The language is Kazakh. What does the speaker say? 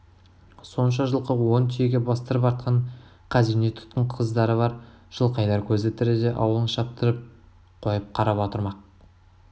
сонша жылқы он түйеге бастырып артқан қазине тұтқын қыздары бар жылқайдар көзі тіріде ауылын шаптырып қойып қарап отырмақ